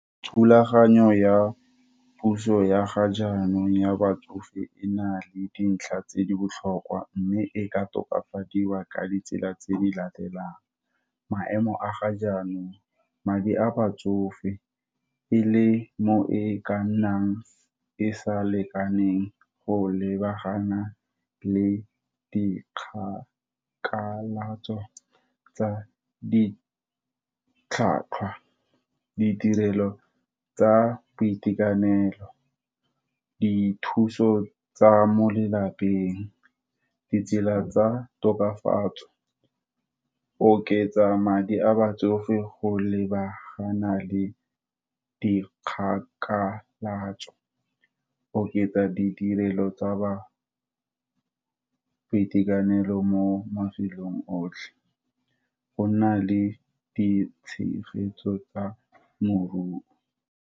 Thulaganyo ya puso ya ga jaanong ya batsofe e na le dintlha tse di botlhokwa, mme e ka tokafadiwa ka ditsela tse di latelang, maemo a ga jaanong madi a batsofe, e le mo e ka nnang e sa lekaneng go lebagana le dikgang. Kalatso tsa di tlhwatlhwa, ditirelo tsa boitekanelo, dithuso tsa mo lelapeng, ditsela tsa tokafatso, oketsa madi a batsofe, go lebagana le dikgakamatso, oketsa ditirelo tsa bangwe, boitekanelo mo mafelong otlhe, go nna le ditshegetso tsa moruo.